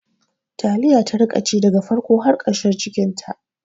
Taliya ta rika ci daga farko har ƙarshen cikinta